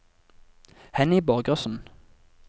Henny Borgersen